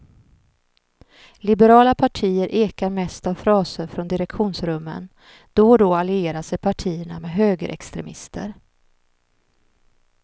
Liberala partier ekar mest av fraser från direktionsrummen, då och då allierar sig partierna med högerextremister.